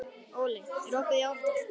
Óli, er opið í ÁTVR?